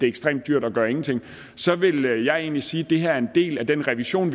ekstremt dyrt at gøre ingenting så vil jeg egentlig sige at det her er en del af den revision